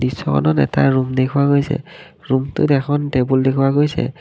দৃশ্যখনত এটা ৰুম দেখুওৱা গৈছে ৰুমটোত এখন টেবুল দেখুওৱা গৈছে।